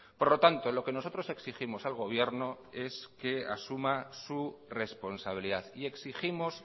por lo tanto lo que nosotros exigimos al gobierno es que asuma su responsabilidad y exigimos